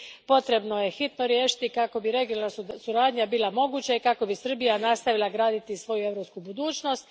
Potrebno ih je hitno riješiti kako bi regionalna suradnja bila moguća i kako bi Srbija nastavila graditi svoju europsku budućnost.